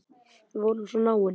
Við vorum svo náin.